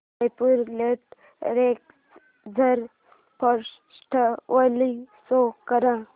Jaipur literature festival show कर